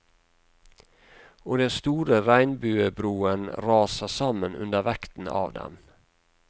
Og den store regnbuebroen raser sammen under vekten av dem.